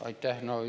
Aitäh!